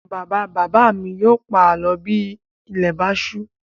Bàbá-bàbá mi yóò pa àlọ́ bí ilẹ̀ bá ṣú.